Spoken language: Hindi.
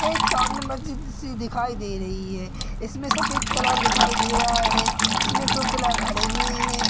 एक सामने मस्जिद सी दिखाई दे रही है इस मे सफेद कलर दिखाई दे रहा है इस मे दो पिलर खड़े हुए है।